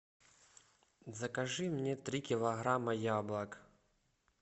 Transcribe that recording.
закажи мне три килограмма яблок